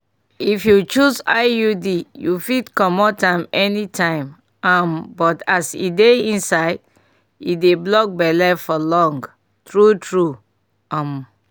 if you choose iud you fit comot am anytime um but as e dey inside e dey block belle for long. true true um